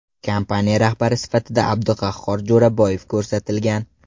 Kompaniya rahbari sifatida Abduqahhor Jo‘raboyev ko‘rsatilgan.